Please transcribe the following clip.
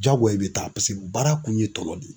Jagoya i bɛ taa paseke baara kun ye tɔnɔ de ye.